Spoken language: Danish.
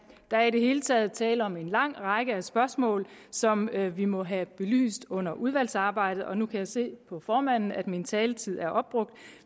der er i det hele taget tale om en lang række spørgsmål som vi må have belyst under udvalgsarbejdet nu kan jeg se på formanden at min taletid er opbrugt